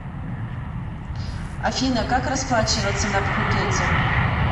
афина как расплачиваться на пхукете